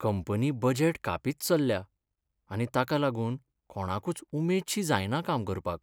Company budget कापीत चल्ल्या आनी ताका लागून कोणाकूच उमेदशी जायना काम करपाक.